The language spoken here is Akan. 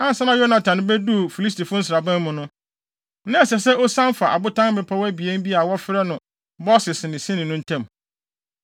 Ansa na Yonatan beduu Filistifo nsraban mu no, na ɛsɛ sɛ osian fa abotan mmepɔw abien bi a wɔfrɛ no Boses ne Sene no ntam.